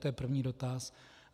To je první dotaz.